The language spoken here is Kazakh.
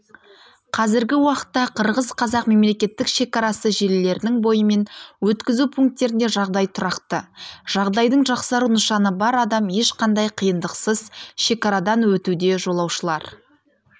қазіргі уақытта қырғыз-қазақ мемлекеттік шекарасы желілерінің бойымен өткізу пункттерінде жағдай тұрақты жағдайдың жақсару нышаны бар адам ешқандай қиындықсыз шекарадан өтуде жолаушылар